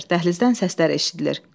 Dəhlizdən səslər eşidilir.